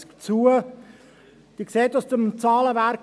Sie sehen im Zahlenwerk: